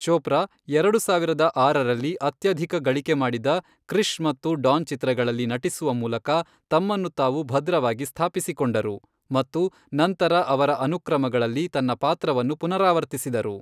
ಚೋಪ್ರಾ , ಎರಡು ಸಾವಿರದ ಆರರಲ್ಲಿ ಅತ್ಯಧಿಕ ಗಳಿಕೆ ಮಾಡಿದ ಕೃಿಷ್ ಮತ್ತು ಡಾನ್ ಚಿತ್ರಗಳಲ್ಲಿ ನಟಿಸುವ ಮೂಲಕ ತಮ್ಮನ್ನು ತಾವು ಭದ್ರವಾಗಿ ಸ್ಥಾಪಿಸಿಕೊಂಡರು, ಮತ್ತು ನಂತರ ಅವರ ಅನುಕ್ರಮಗಳಲ್ಲಿ ತನ್ನ ಪಾತ್ರವನ್ನು ಪುನರಾವರ್ತಿಸಿದರು.